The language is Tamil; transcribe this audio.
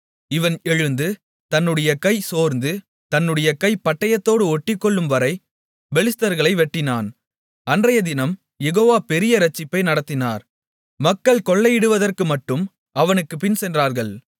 இவன் எழுந்து தன்னுடைய கை சோர்ந்து தன்னுடைய கை பட்டயத்தோடு ஒட்டிக்கொள்ளும்வரை பெலிஸ்தர்களை வெட்டினான் அன்றையதினம் யெகோவா பெரிய இரட்சிப்பை நடத்தினார் மக்கள் கொள்ளையிடுவதற்குமட்டும் அவனுக்குப் பின்சென்றார்கள்